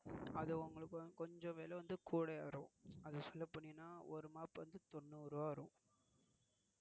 அது உங்களுக்கு வந்து கொஞ்சம் விலை வந்து கூடயா வரும் அது சொல்லபோனீங்கனா ஒரு mop தொன்னூறு ரூபாய் வரும்.